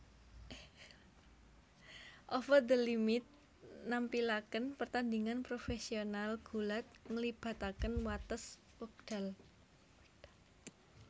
Over the Limit nampilakèn pertandingan profesional gulat nglibatakèn watès wèkdal